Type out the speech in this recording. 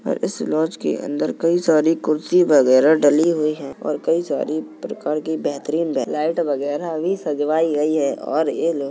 और इस लॉज के अंदर कई सारी कुर्सी वगैरह डली हुई हैं और कई सारी प्रकार की बेहतरीन लाइट वगैरह भी सजावाई गई हैं। और ये लोग --